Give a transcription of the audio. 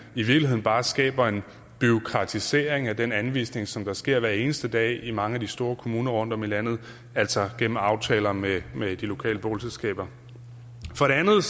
i virkeligheden bare skaber en bureaukratisering af den anvisning som sker hver eneste dag i mange af de store kommuner rundtom i landet altså gennem aftaler med med de lokale boligselskaber for det andet